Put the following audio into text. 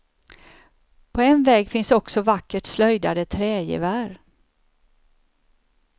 På en vägg finns också vackert slöjdade trägevär.